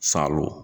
Salon